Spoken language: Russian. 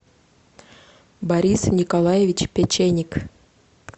борис николаевич печеник